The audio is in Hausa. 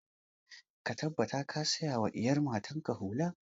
Ka tabbata ka saya wa iyar matan ka hula!